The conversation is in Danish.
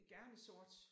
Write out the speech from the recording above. Gerne sort